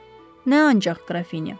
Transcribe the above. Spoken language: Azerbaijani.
Nə ancaq, Qrafinya?